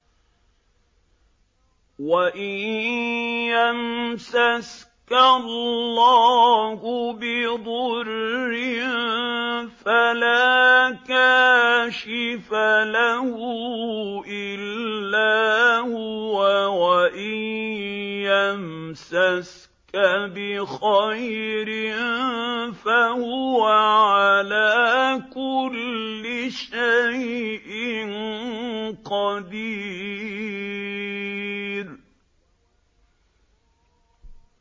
وَإِن يَمْسَسْكَ اللَّهُ بِضُرٍّ فَلَا كَاشِفَ لَهُ إِلَّا هُوَ ۖ وَإِن يَمْسَسْكَ بِخَيْرٍ فَهُوَ عَلَىٰ كُلِّ شَيْءٍ قَدِيرٌ